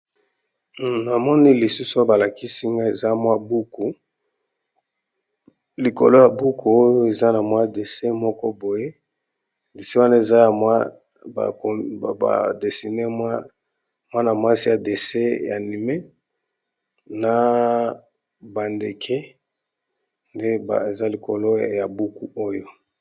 Namoni lisusu balakisi nga eza mwa buku likolo ya buku oyo eza na mwa dessin moko boye, dessin wana mwasi ya dessin animé na bandeke nde beza likolo ya buku oyo.